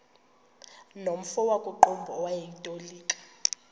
nomfo wakuqumbu owayetolika